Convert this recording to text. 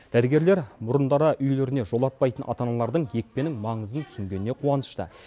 дәрігерлер бұрындары үйлеріне жолатпайтын ата аналардың екпенің маңызын түсінгеніне қуанышты